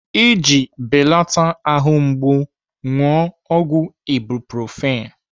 Iji belata ahụ mgbu, ṅụọ ọgwụ ibuprofen.